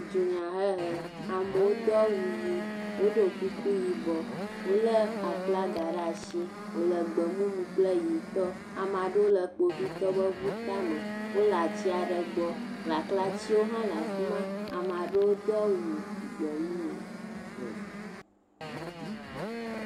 dunyahehe amewo do awu yi wodó kuku yibɔ le aflaga ɖasi wòle gbemumu kple yi amaɖewo le kpovitɔwo ƒe ʋu tame wóle atiaɖe gbɔ laklatsiwo hã le afima amaɖewo dó awu gbemumu